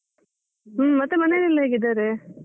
ಹ್ಮ್, ಮತ್ತೆ ಮನೆಲ್ಲೆಲ್ಲಾ ಹೇಗಿದ್ದಾರೆ?